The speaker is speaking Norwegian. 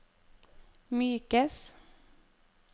mykes